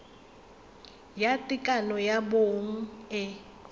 ya tekano ya bong e